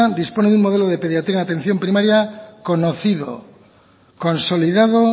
dispone de un modelo de pediatría en atención primaria conocido consolidado